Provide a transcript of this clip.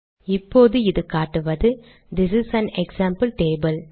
இப்போது இது காட்டுவது this is an example table